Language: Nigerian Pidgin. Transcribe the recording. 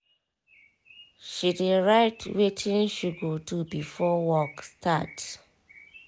she dey write wetin she go do before work start